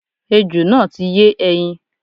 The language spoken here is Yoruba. Ejò náà ti yé ẹyin